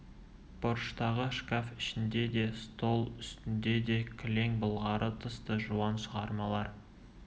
бұрыштағы шкаф ішінде де стол үстінде де кілең былғары тысты жуан шығармалар